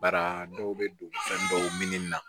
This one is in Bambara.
Bara dɔw bɛ don fɛn dɔw min na